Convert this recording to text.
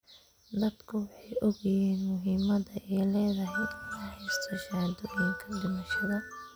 Dadku way ogyihiin muhiimadda ay leedahay in la haysto shahaadooyinka dhimashada.